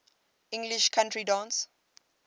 english country dance